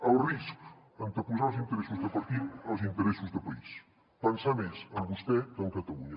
el risc anteposar els interessos de partit als interessos de país pensar més en vostè que en catalunya